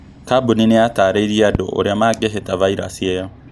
Kambuni nĩ yatareirie andũ ũrĩa mangĩhĩta vairasi ĩyo